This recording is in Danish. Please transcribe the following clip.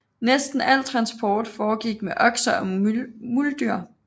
Næsten al transport foregik med okser og muldyr